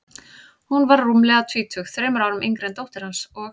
Hún var rúmlega tvítug, þremur árum yngri en dóttir hans, og